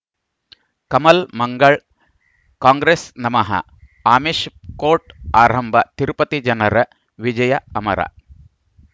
ಕಮಲ್ ಮಂಗಳ್ ಕಾಂಗ್ರೆಸ್ ನಮಃ ಆಮಿಷ್ ಕೋರ್ಟ್ ಆರಂಭ ತಿರುಪತಿ ಜನರ ವಿಜಯ ಅಮರ